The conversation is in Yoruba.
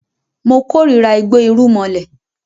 Mo kórira igbó irúmọlẹ̀